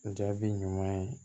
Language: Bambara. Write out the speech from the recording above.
Jaabi ɲuman ye